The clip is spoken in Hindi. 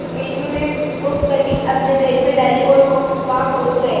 मीनू ने वो कटिंग अपने बैग में डाली और वहां पहुंच गए